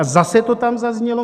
A zase to tam zaznělo.